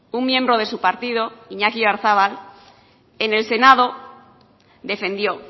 un miembro de su partido iñaki oyarzabal en el senado defendió